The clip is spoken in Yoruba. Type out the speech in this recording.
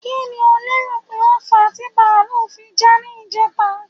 Kí ni o lérò pé ó fà á ti bàlúù fi já ní ìjẹta?